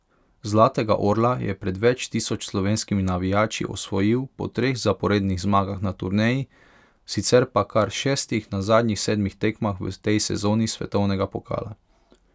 Zlatega orla je pred več tisoč slovenskimi navijači osvojil po treh zaporednih zmagah na turneji, sicer pa kar šestih na zadnjih sedmih tekmah v tej sezoni svetovnega pokala.